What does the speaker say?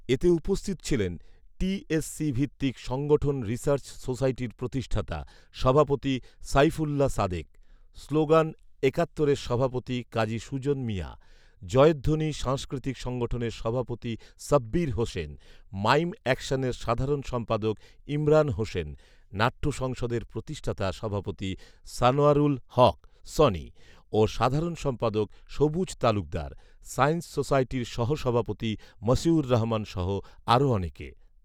এতে উপস্থিত ছিলেন টিএসসি ভিত্তিক সংগঠন রিসার্চ সোসাইটির প্রতিষ্ঠাতা সভাপতি সাইফুল্লাহ সাদেক, স্লোগান একাত্তরের সভাপতি কাজী সুজন মিয়া, জয়ধ্বনি সাংস্কৃিতক সংগঠনের সভাপতি সাব্বির হোসেন, মাইম অ্যাকশনের সাধারণ সম্পাদক ইমরান হোসেন, নাট্যসংসদের প্রতিষ্ঠাতা সভাপতি সানোয়ারুল হক সনি ও সাধারণ সম্পাদক সবুজ তালুকদার, সায়েন্স সোসাইটির সহ সভাপতি মশিউর রহমান সহ আরো অনেকে